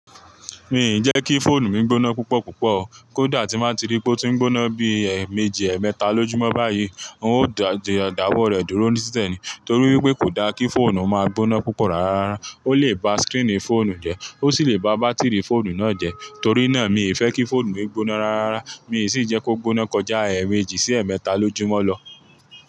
Mi ì jẹ́ kí fóònù mi gbóná púpọ̀ púpọ̀ o. Kódà tí máa ti rí pé ó ti ń gbóná bí i ẹ̀mẹ́jì, ẹ̀mẹ́ta lójúmọ́ báyìí, n ó dáwọ́ rẹ̀ dúró ní títẹ̀ ni. Torí wípé kò da kí fóònù máa gbóná púpọ̀ rárá rárá. Ó lè ba skínì fóònù jẹ́, ó sì lè ba bátìrì fóònù náà jẹ́. Torí náà, mi ì fẹ́ kí fóònù mi gbóná rárá rárá Mi sì ń jẹ́ kó gbóná kọjá ẹ̀mẹ́jì sí ẹ̀mẹ́ta lójúmọ́ lọ.